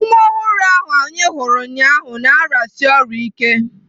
Nwa ọhụrụ ahụ anyị hụrụ ụnyaahụ na-arịasi ọrịa ike.